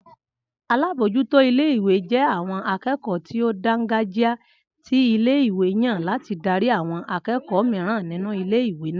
Alábójútó ilé-ìwé jé àwon akékòó tí ó dángàjíá tí ilé-ìwé yàn láti darí àwon akékòó mìíràn nínú ilé-ìwé náà